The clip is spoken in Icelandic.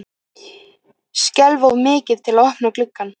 Skelf of mikið til að opna gluggann.